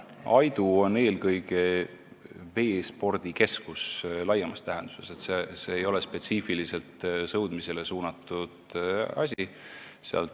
Aidu on eelkõige veespordikeskus laiemas tähenduses, see ei ole spetsiifiliselt sõudmisele suunatud asi.